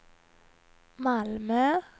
Malmö